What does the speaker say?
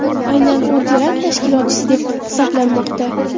Aynan u terakt tashkilotchisi deb hisoblanmoqda.